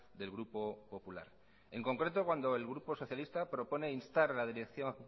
del grupo popular en concreto cuando el grupo socialista propone instar la dirección